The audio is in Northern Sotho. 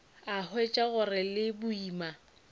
a hwetša go le boima